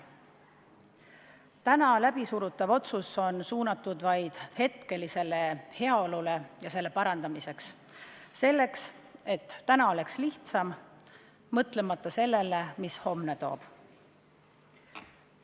Täna läbisurutav otsus on suunatud vaid hetkelisele heaolule ja selle parandamisele, sellele, et täna oleks lihtsam, mõtlemata sellele, mis homne toob.